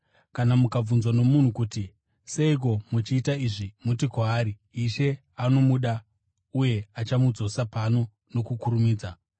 Kana mukabvunzwa nomunhu kuti, ‘Seiko muchiita izvi?’ muti kwaari, ‘Ishe anomuda uye achamudzosa pano nokukurumidza.’ ”